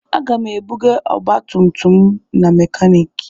Aga m ebuga ọgbatumtum m na mekaniiki.